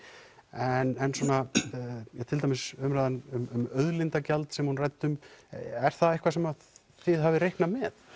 en til dæmis umræðan um auðlindagjald sem hún ræddi um er það eitthvað sem þið hafið reiknað með